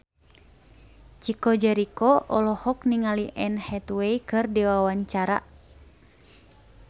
Chico Jericho olohok ningali Anne Hathaway keur diwawancara